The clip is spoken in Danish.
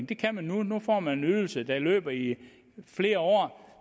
det kan man nu nu får man en ydelse der løber i flere år